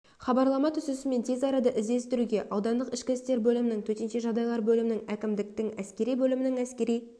хабарлама түсісімен тез арада іздестіруге аудандық ішкі істер бөлімінің төтенше жағдайлар бөлімінің әкімдіктің әскери бөлімінің әскери